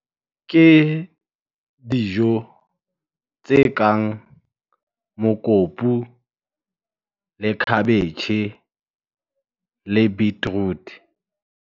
Ke dijo tse kang mokopu, le khabetjhe le beetroot.